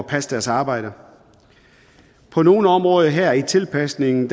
passe deres arbejde på nogle områder her i tilpasningen